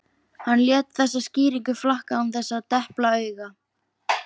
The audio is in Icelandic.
Hann lét þessa skýringu flakka án þess að depla auga.